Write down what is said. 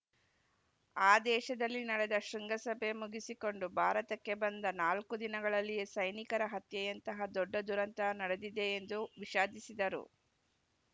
ಆ ದೇಶದಲ್ಲಿ ನಡೆದ ಶೃಂಗಸಭೆ ಮುಗಿಸಿಕೊಂಡು ಭಾರತಕ್ಕೆ ಬಂದ ನಾಲ್ಕು ದಿನಗಳಲ್ಲಿಯೇ ಸೈನಿಕರ ಹತ್ಯೆಯಂತಹ ದೊಡ್ಡ ದುರಂತ ನಡೆದಿದೆ ಎಂದು ವಿಷಾದಿಸಿದರು